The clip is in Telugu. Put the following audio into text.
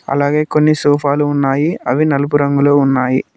అలాగే కొన్ని సోఫా లు ఉన్నాయి అవి నలుపు రంగులో ఉన్నాయి.